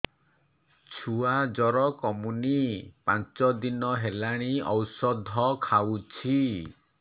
ଛୁଆ ଜର କମୁନି ପାଞ୍ଚ ଦିନ ହେଲାଣି ଔଷଧ ଖାଉଛି